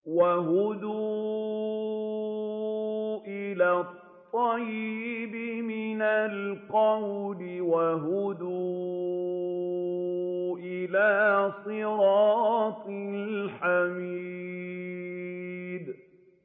وَهُدُوا إِلَى الطَّيِّبِ مِنَ الْقَوْلِ وَهُدُوا إِلَىٰ صِرَاطِ الْحَمِيدِ